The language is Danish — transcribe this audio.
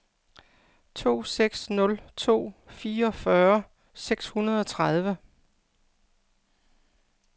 to seks nul to fireogfyrre seks hundrede og tredive